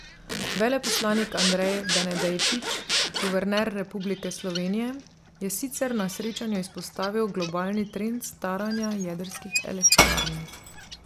Veleposlanik Andrej Benedejčič, guverner Republike Slovenije, je sicer na srečanju izpostavil globalni trend staranja jedrskih elektrarn.